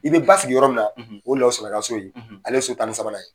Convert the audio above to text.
I bɛ ba sigi yɔrɔ min na o ye lasana ka so ye ale ye so tan ni sabanan ye.